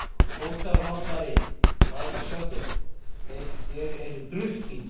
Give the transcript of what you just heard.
HÓTELHALDARI: Hvað er að sjá: þér eruð drukkin?